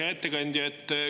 Hea ettekandja!